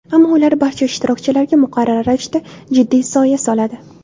Ammo ular barcha ishtirokchilarga muqarrar ravishda jiddiy soya soladi.